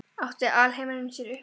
Átti alheimurinn sér upphaf?